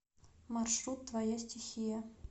маршрут твоя стихия